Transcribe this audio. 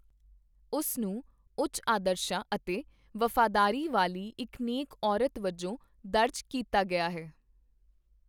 ਉਸ ਨੂੰ ਉੱਚ ਆਦਰਸ਼ਾਂ ਅਤੇ ਵਫ਼ਾਦਾਰੀ ਵਾਲੀ ਇੱਕ ਨੇਕ ਔਰਤ ਵਜੋਂ ਦਰਜ ਕੀਤਾ ਗਿਆ ਹੈ।